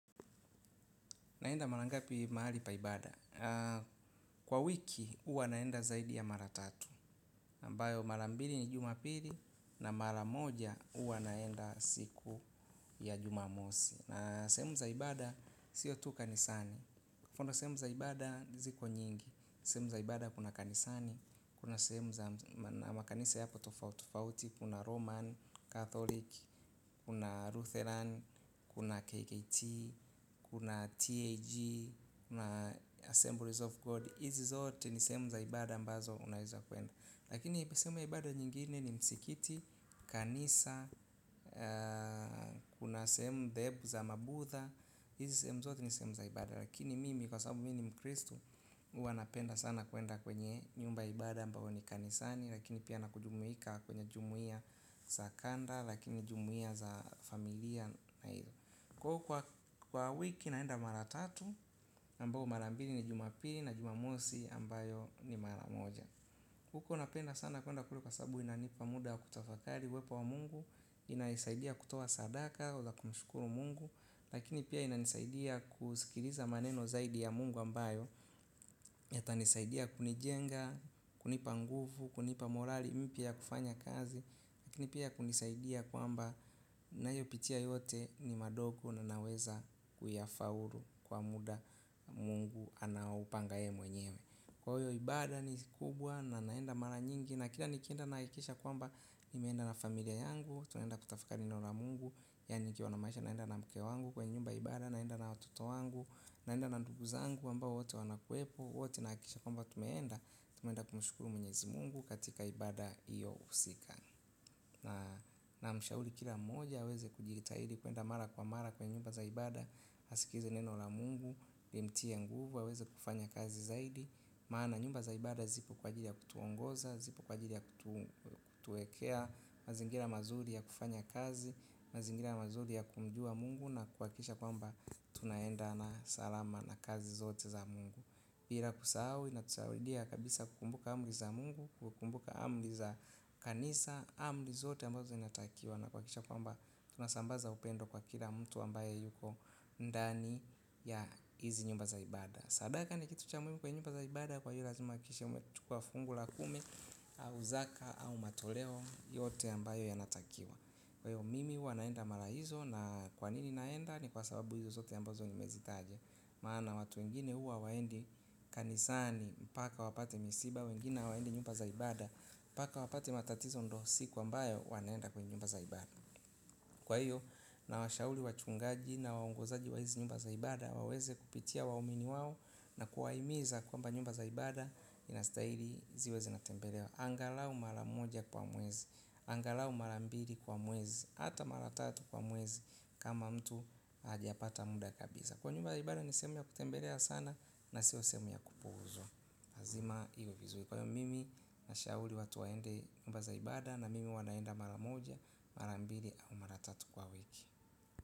Naenda mara ngapi mahali pa ibada, kwa wiki hua naenda zaidi ya mara tatu. Ambayo mara mbili ni jumapili. Na maramoja huwa naenda siku ya jumamosi. Na sehemu za ibada siyo tu kanisani hvo ndo sehemu za ibada ziko nyingi. Sehemu za ibada kuna kanisani. Kuna sehemu za makanisa yapo tofauti tofauti. Kuna Roman, Catholic, kuna Lutheran. Kuna KKT, kuna TAG na Assemblies of God. Hizi zote ni sehemu za ibada mbazo unawezakuenda. Lakini ipo sehemu za ibada nyingine ni msikiti, Kanisa. Kuna semu dhehebu za mabudha. Hizi sehemu zote ni sehemu za ibada. Lakini mimi kwa sababu mimi ni mkristu huwa napenda sana kuenda kwenye nyumba ya ibada ambayo ni kanisani. Lakini pia nakujumuika kwenye jumuiya za kanda. Lakini jumuiya za familia. Kwa wiki naenda mara tatu ambapo mara mbili ni jumapili na jumamosi ambayo ni mara moja. Huko napenda sana kuenda kule kwa sababu inanipa muda kutafakari uwepo wa mungu inaisaidia kutoa sadaka waweza kumshukuru mungu. Lakini pia inanisaidia kusikiliza maneno zaidi ya mungu ambayo yatanisaidia kunijenga, kunipa nguvu, kunipa morali mpya kufanya kazi, lakini pia ya kunisaidia kwamba ninayopitia yote ni madogo na naweza kuyafaulu kwa muda mungu anaoupanga yeye mwenyewe kwa hyo ibada ni kubwa, na naenda mara nyingi na kila ninaenda nahakikisha kwamba, nimeenda na familia yangu tunaenda kutafta yaan nikiwa namaanisha naenda na mke wangu kwa nyumba ya ibada naenda na watoto wangu, naenda na ndugu zangu ambao wote wanakuwepo, hua tunahakikisha tumeenda tumeenda kumshukuru mwenyezi mungu katika ibada hiyo husika na namshauri kila moja aweze kujitahidii kuenda mara kwa mara kwenye nyumba za ibada. Askize neno la mungu, limtie nguvu, aweze kufanya kazi zaidi. Maana nyumba za ibada zipo kwa ajili ya kutuongoza, zipo kwa ajili ya kutuekea. Mazingira mazuri ya kufanya kazi, mazingira mazuri ya kumjua mungu na kuhakisha kwamba tunaenda na salama na kazi zote za mungu. Bila kusahau inatusaidia kabisa kukumbuka amri za mungu, kukumbuka amri za kanisa, amri zote ambazo zinatakiwa. Na kuhakikisha kwamba tunasambaza upendo kwa kila mtu ambaye yuko ndani ya hizi nyumba za ibada. Sadaka ni kitu cha muhimu kwa nyumba za ibada kwa hiyo lazima uhakikishe umechukua fungu la kumi, au zaka au matoleo yote ambayo yanatakiwa. Kwa hiyo mimi huwa naenda mara hizo na kwa nini naenda ni kwa sababu hizo zote ambazo nimezitaja. Maana watu wengine huwa hawaendi kanisani mpaka wapate misiba wengine hawaendi nyumba za ibada mpaka wapate matatizo ndo siku ambayo wanaenda kwa nyumba za ibada. Kwa hiyo nawashaurri wachungaji na waungozaji wa hizi nyumba za ibada waweze kupitia waumini wao na kuwaimiza kwamba nyumba za ibada inastahili ziwe zinatembelewa angalau mara moja kwa mwezi angalau mara mbili kwa mwezi. Hata mara tatu kwa mwezi kama mtu hajapata muda kabisa. Kwa hyo nyumba ya ibada ni sehemu ya kutembelea sana na sio sehemu ya kupuuzwa. Lazima iwe vizuri kwa hiyo mimi nashauri watu waende nyumba za ibada na mimi huwa naenda mara moja, mara mbili au mara tatu kwa wiki.